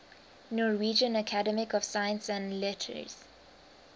norwegian academy of science and letters